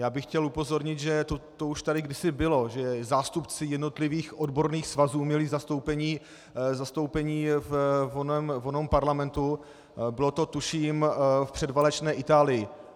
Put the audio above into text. Já bych chtěl upozornit, že to už tady kdysi bylo, že zástupci jednotlivých odborných svazů měly zastoupení v onom parlamentu, bylo to tuším v předválečné Itálii.